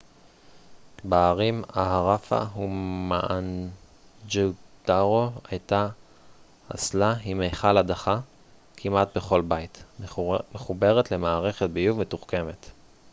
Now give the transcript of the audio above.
בערים האראפה ומואנג'ודארו הייתה אסלה עם מכל הדחה כמעט בכל בית מחוברת למערכת ביוב מתוחכמת